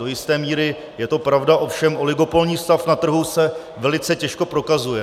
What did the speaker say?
Do jisté míry je to pravda, ovšem oligopolní stav na trhu se velice těžko prokazuje.